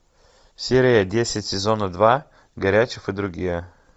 серия десять сезона два горячев и другие